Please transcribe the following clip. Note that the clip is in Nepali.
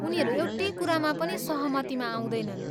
उनीहरू एउटै कुरामा पनि सहमतिमा आउँदैनन्।